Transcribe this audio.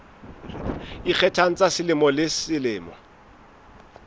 ikgethang tsa selemo le selemo